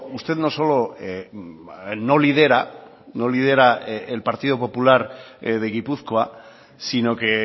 usted no solo no lidera no lidera el partido popular de gipuzkoa sino que